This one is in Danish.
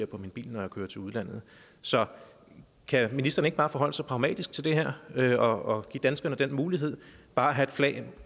på min bil når jeg kører til udlandet så kan ministeren ikke bare forholde sig pragmatisk til det her og give danskerne den mulighed bare at have et flag